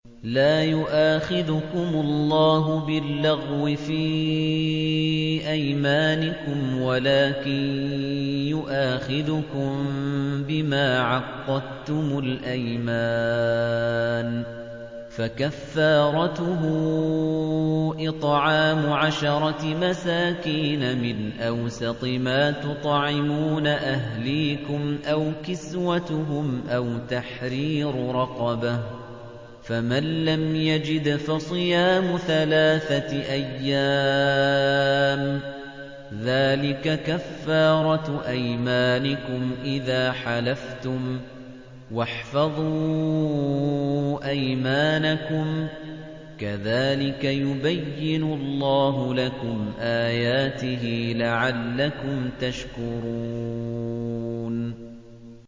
لَا يُؤَاخِذُكُمُ اللَّهُ بِاللَّغْوِ فِي أَيْمَانِكُمْ وَلَٰكِن يُؤَاخِذُكُم بِمَا عَقَّدتُّمُ الْأَيْمَانَ ۖ فَكَفَّارَتُهُ إِطْعَامُ عَشَرَةِ مَسَاكِينَ مِنْ أَوْسَطِ مَا تُطْعِمُونَ أَهْلِيكُمْ أَوْ كِسْوَتُهُمْ أَوْ تَحْرِيرُ رَقَبَةٍ ۖ فَمَن لَّمْ يَجِدْ فَصِيَامُ ثَلَاثَةِ أَيَّامٍ ۚ ذَٰلِكَ كَفَّارَةُ أَيْمَانِكُمْ إِذَا حَلَفْتُمْ ۚ وَاحْفَظُوا أَيْمَانَكُمْ ۚ كَذَٰلِكَ يُبَيِّنُ اللَّهُ لَكُمْ آيَاتِهِ لَعَلَّكُمْ تَشْكُرُونَ